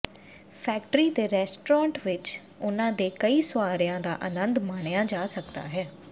factory ਦੇ restaurant ਵਿਚ ਉਨ੍ਹਾਂ ਦੇ ਕਈ ਸੁਆਰਿਆਂ ਦਾ ਆਨੰਦ ਮਾਣਿਆ ਜਾ ਸਕਦਾ ਹੈ